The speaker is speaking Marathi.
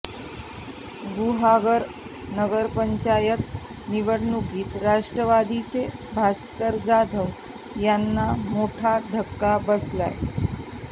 गुहागर नगरपंचायत निवडणुकीत राष्ट्रवादीचे भास्कर जाधव यांना मोठा धक्का बसलाय